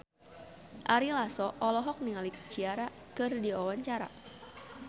Ari Lasso olohok ningali Ciara keur diwawancara